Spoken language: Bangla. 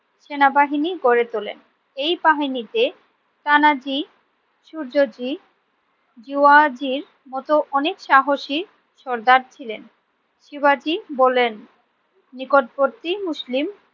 সেনাবাহিনী গড়ে তোলেন। এই বাহিনীতে তানাজি সূর্য জি জেউয়াজির মত অনেক সাহসী সর্দার ছিলেন। শিবাজী বললেন নিকটবর্তী মুসলিম